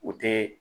U tɛ